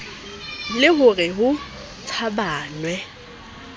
le ho re ho tshabanwe